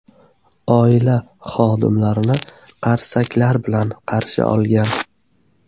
Oila xodimlarni qarsaklar bilan qarshi olgan.